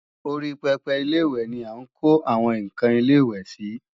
Orí pẹpẹ Ilé-ìwẹ̀ ni à ń kó àwọn ǹkan ilẹ̀-ìwẹ̀ sí